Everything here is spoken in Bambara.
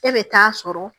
E bɛ taa sɔrɔ